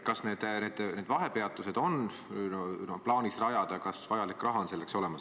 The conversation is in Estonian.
Kas need vahepeatused on plaanis rajada ja kas selleks vajalik raha on olemas?